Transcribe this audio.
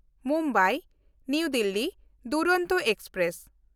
Mumbai New Delhi Duronto express